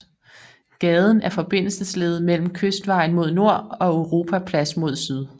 Gaden er forbindelsesled mellem Kystvejen mod nord og Europaplads mod syd